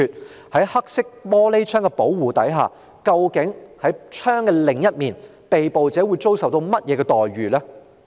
那麼，在黑色玻璃的保護下，究竟在車窗的另一面，被捕者會遭受甚麼樣的待遇呢？